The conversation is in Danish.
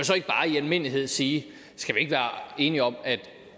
så ikke bare i almindelighed sige skal vi ikke være enige om